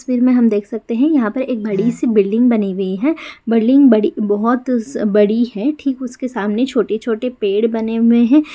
इस तस्वीर में हम देख सकते हैं यहाँ पे एक बडी सी बिल्डिंग बनी हुई है बिल्डिंग बड़ी बहुत बड़ी है ठीक उसके सामने छोटे छोटे पेड़ बने हुए हैं।